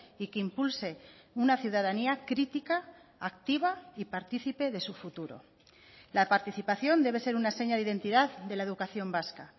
y que impulse una ciudadanía crítica activa y partícipe de su futuro la participación debe ser una seña de identidad de la educación vasca